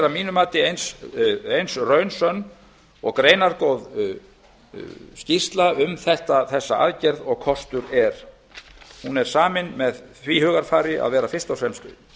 mínu mati eins og raunsönn og greinargóð skýrsla um þessa aðgerð og kostur er hún er samin með því hugarfari að vera fyrst og fremst